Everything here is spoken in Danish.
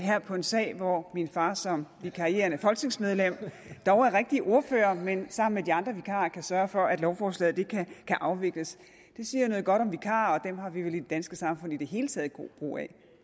her på en sag hvor min far som vikarierende folketingsmedlem dog er rigtig ordfører men sammen med de andre vikarer kan sørge for at lovforslaget kan afvikles det siger noget godt om vikarer og dem har vi vel i det danske samfund i det hele taget god brug af